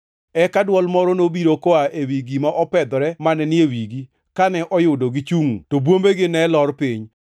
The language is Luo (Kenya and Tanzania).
Eka dwol moro nobiro koa ewi gima opedhore mane ni e wigi, kane oyudo gichungʼ to bwombegi ne lor piny.